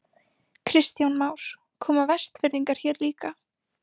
Kristján Már: Koma Vestfirðingar hér líka?